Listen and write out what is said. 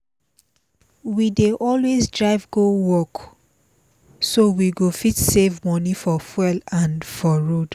we dey always drive go work together so we go fit save money for fuel and for road